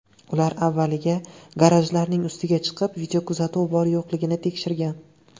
Ular avvaliga garajlarning ustiga chiqib, videokuzatuv bor-yo‘qligini tekshirgan.